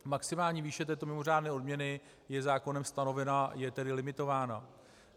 Maximální výše této mimořádné odměny je zákonem stanovená, je tedy limitovaná.